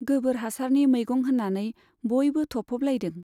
गोबोर हासारनि मैगं होन्नानै बयबो थफ'बलायदों।